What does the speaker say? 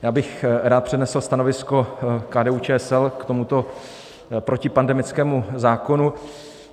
Já bych rád přednesl stanovisko KDU-ČSL k tomuto protipandemickému zákonu.